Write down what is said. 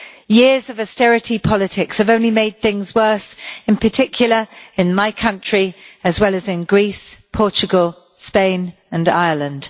Years of austerity politics have only made things worse, in particular in my country, as well as in Greece, Portugal, Spain and Ireland.